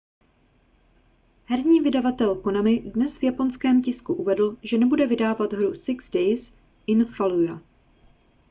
herní vydavatel konami dnes v japonském tisku uvedl že nebude vydávat hru six days in fallujah